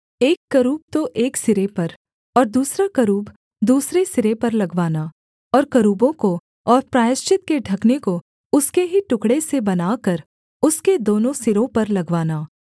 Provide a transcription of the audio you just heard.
एक करूब तो एक सिरे पर और दूसरा करूब दूसरे सिरे पर लगवाना और करूबों को और प्रायश्चित के ढकने को उसके ही टुकड़े से बनाकर उसके दोनों सिरों पर लगवाना